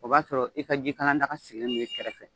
O b'a sɔrɔ i ka jikala daga sigilen don i kɛrɛfɛ.